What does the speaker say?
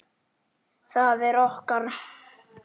Það er okkar.